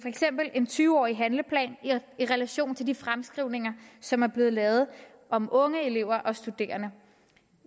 eksempel i en tyve årig handleplan i relation til de fremskrivninger som er blevet lavet om unge elever og studerende